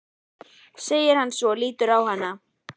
segir hann svo og lítur á hana.